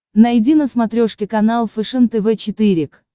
найди на смотрешке канал фэшен тв четыре к